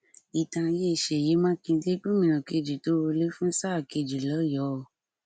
ìtàn ayé sèyí mákindé gómìnà kejì tó wọlé fún sáà kejì lọyọ o